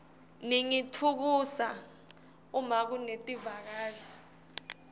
ningitfukusa uma kunetivakashi